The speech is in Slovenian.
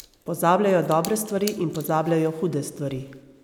Pozabljajo dobre stvari in pozabljajo hude stvari.